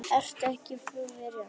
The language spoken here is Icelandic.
Ertu ekki fullveðja?